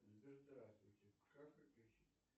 сбер здравствуйте как подключить